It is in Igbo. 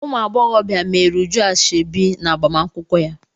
Ụmụ agbọghọbịa meere Uju ashọbi n'agbamakwụkwọ ya.